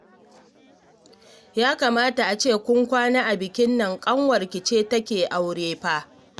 Ya kamata a ce kun kwana a bikin nan, ƙanwarki ce take aure fa